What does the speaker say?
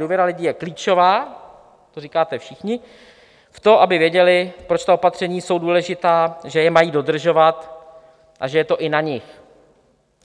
Důvěra lidí je klíčová, to říkáte všichni, v to, aby věděli, proč ta opatření jsou důležitá, že je mají dodržovat a že je to i na nich,